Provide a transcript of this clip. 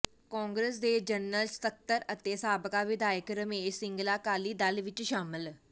ਕਾਂਗਰਸ ਦੇ ਜਨਰਲ ਸਕੱਤਰ ਅਤੇ ਸਾਬਕਾ ਵਿਧਾਇਕ ਰਮੇਸ਼ ਸਿੰਗਲਾ ਅਕਾਲੀ ਦਲ ਵਿਚ ਸ਼ਾਮਲ